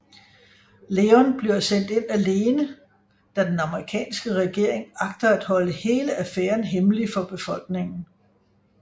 Leon bliver sendt ind alene da den amerikanske regering agter at holde hele affæren hemmelig for befolkningen